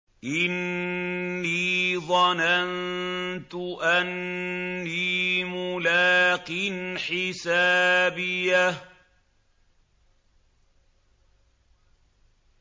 إِنِّي ظَنَنتُ أَنِّي مُلَاقٍ حِسَابِيَهْ